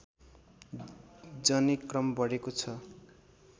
जने क्रम बढेको छ